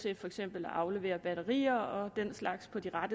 vil aflevere så videre